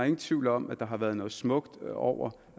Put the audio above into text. ingen tvivl om at der har været noget smukt over